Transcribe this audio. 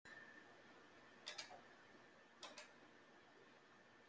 Kristján Már Unnarsson: Þú átt við með erlendri lántöku?